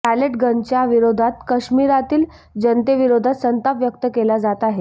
palette गनच्या विरोधात काश्मिरातील जनतेविरोधात संताप व्यक्त केला जात आहे